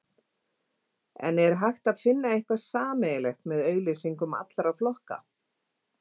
En er hægt að finna eitthvað sameiginlegt með auglýsingum allra flokka?